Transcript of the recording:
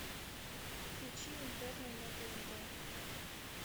включи интерны на тнт